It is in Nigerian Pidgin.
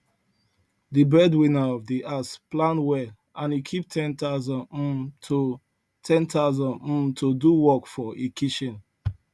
the breadwinner of the house plan well and e keep 10000 um to 10000 um to do work for e kitchen